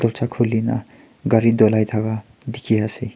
torcha kulina kare tolai taka teki pai ase.